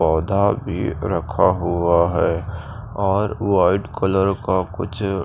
पौधा भी रखा हुआ है और वाइट कलर का कुछ।